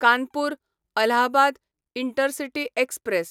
Kanpur Allahabad intercity express